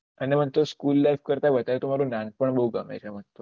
અને મને તો સ્કૂલ લાઈફ કરતા વધાર તો મને નાનપણ બહુ ગમે છે